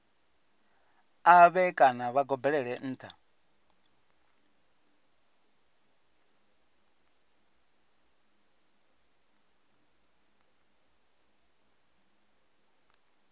ṱavhe kana vha gobelele nṱha